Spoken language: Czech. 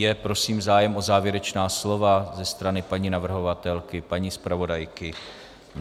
Je prosím zájem o závěrečná slova ze strany paní navrhovatelky, paní zpravodajky?